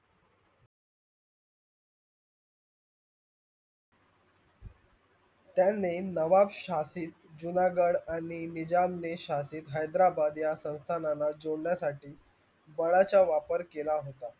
त्यांनी नवाबशहाशील जुनागड आणि निजामनेशहाशील हेदारबाद या संथाणाना जोडण्यासटी बडचा वापर केला होता.